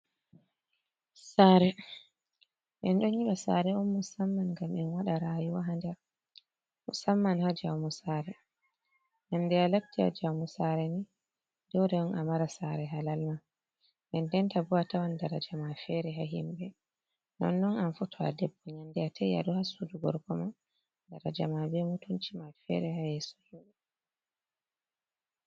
Sare en ɗon nyiɓa sare on musamman ngam en waɗa rayuwa ha nder musamman ha jawamo sare, nyande a latti a jaumo sare ni dole on a mara sare halalma, denden ta bo atawan dara jama fere ha himɓɓe, nonnon am fu to a ɗebbo nyande a tawi aɗo ha sudu gorkoma darajama be mutunci ma fere ha yesso himɓɓe.